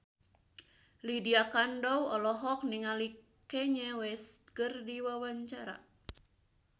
Lydia Kandou olohok ningali Kanye West keur diwawancara